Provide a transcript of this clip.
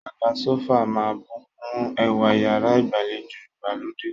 Àga sófà máà ń bùkún ẹwà iyàrá ìgbàlejò ìgbàlódé.